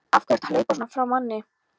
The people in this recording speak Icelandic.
AF HVERJU ERTU AÐ HLAUPA SVONA FRÁ MANNI!